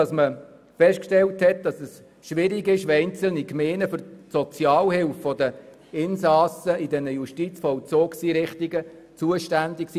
Es wurde festgestellt, dass es schwierig ist, wenn die Gemeinden für die Sozialhilfe der Insassen in den Justizvollzugseinrichtungen zuständig sind.